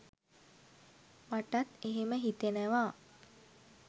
මටත් එහෙම හිතෙනවා